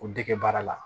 O dege baara la